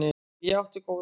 Ég hef átt góða ævi.